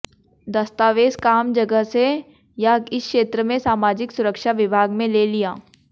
दस्तावेज़ काम जगह से या इस क्षेत्र में सामाजिक सुरक्षा विभाग में ले लिया